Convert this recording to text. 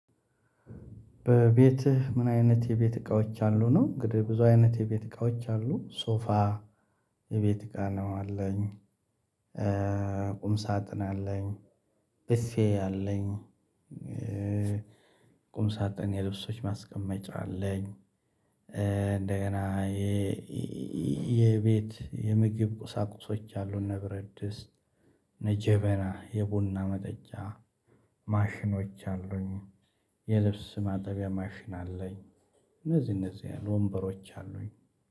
በቤትህ ምን አይነት የቤት እቃዎች አሉ ነው እንግዲህ ብዙ አይነት የቤት እቃዎች አሉ ሶፋ የቤት እቃ ነው አለኝ። ቁም ሳጥን አለኝ። ብፌ አለኝ። ቁም ሳጥን የልብሶች ማስቀመጫ አለኝ። እንደገና የቤት የምግብ ቁሳቁሶች አሉ እነ ብረድስት እነ ጀበና የቡና መጠጫ ማሽኖች አሉኝ። የልብስ ማጠቢያ ማሽን አለኝ። እነዚህ እነዚህ ያሉ ወንበሮች አሉኝ